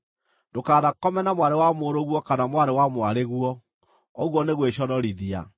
“ ‘Ndũkanakome na mwarĩ wa mũrũguo kana mwarĩ wa mwarĩguo; ũguo nĩ gwĩconorithia.